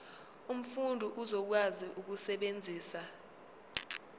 umfundi uzokwazi ukusebenzisa